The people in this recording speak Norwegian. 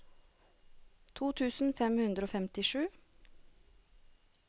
to tusen fem hundre og femtisju